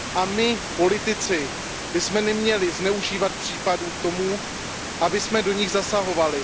My politici bychom neměli zneužívat případy k tomu, abychom do nich zasahovali.